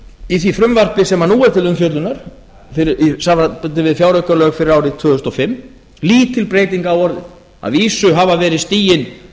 í því frumvarpi sem nú er til umfjöllunar í samanburði við fjáraukalög fyrir árið tvö þúsund og fimm lítið breyting á orðið að vísu hafa verið stigin